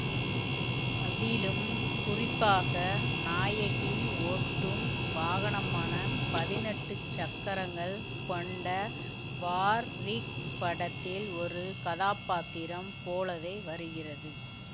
அதிலும் குறிப்பாக நாயகி ஓட்டும் வாகனமான பதினெட்டு சக்கரங்கள் கொண்ட வார் ரிக் படத்தில் ஒரு கதாப்பாத்திரம் போலவே வருகிறது